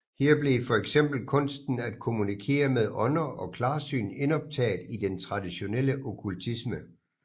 Her blev fx kunsten at kommunikere med ånder og klarsyn indoptaget i den tradtionelle okkultisme